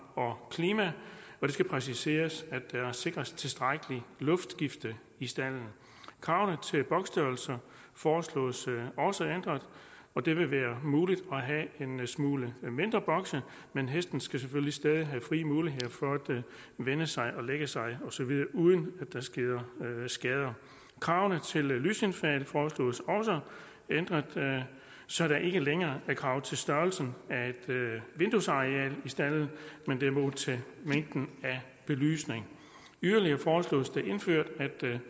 og klima og det skal præciseres at der sikres et tilstrækkeligt luftskifte i stalden kravene til boksstørrelser foreslås også ændret og det vil være muligt at have en smule mindre bokse men hesten skal selvfølgelig stadig have frie muligheder for at vende sig og lægge sig osv uden at der sker skader kravene til lysindfald foreslås også ændret så der ikke længere er krav til størrelsen af et vinduesareal i stalden men derimod til mængden af belysning yderligere foreslås det indført at